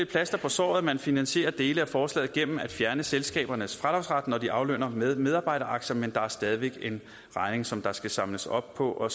plaster på såret at man finansierer dele af forslaget gennem at fjerne selskabernes fradragsret når de aflønner med medarbejderaktier men der er stadig væk en regning som der skal samles op på og